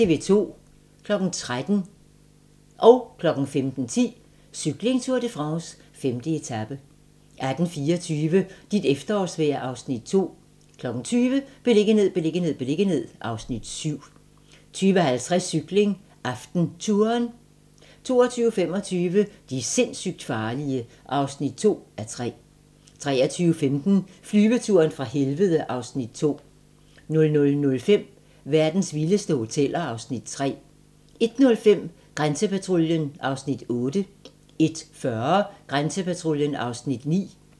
13:00: Cykling: Tour de France - 5. etape 15:10: Cykling: Tour de France - 5. etape 18:24: Dit efterårsvejr (Afs. 2) 20:00: Beliggenhed, beliggenhed, beliggenhed (Afs. 7) 20:50: Cykling: AftenTouren 22:25: De sindssygt farlige (2:3) 23:15: Flyveturen fra helvede (Afs. 2) 00:05: Verdens vildeste hoteller (Afs. 3) 01:05: Grænsepatruljen (Afs. 8) 01:40: Grænsepatruljen (Afs. 9)